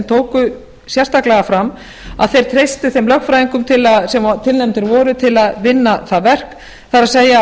tóku sérstaklega fram að þeir treystu þeim lögfræðingum sem tilnefndir voru til að vinna það verk það er að